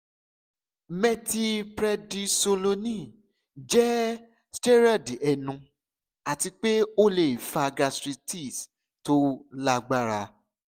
methylprednisolone jẹ steroid ẹnu ati pe o le fa gastritis to lagbara